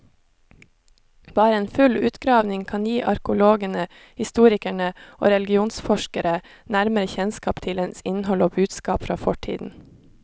Bare en full utgravning kan gi arkeologene, historikere og religionsforskere nærmere kjennskap til dens innhold og budskap fra fortiden.